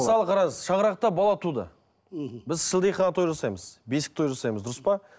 мысалы қараңыз шаңырақта бала туды мхм біз шілдехана той жасаймыз бесік той жасаймыз дұрыс па